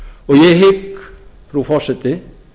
og ég hygg frú forseti